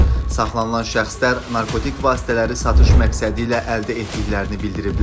Saxlanılan şəxslər narkotik vasitələri satış məqsədi ilə əldə etdiklərini bildiriblər.